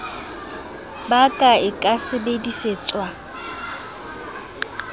ba ka e ka sebedisetswa